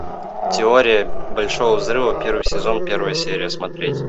теория большого взрыва первый сезон первая серия смотреть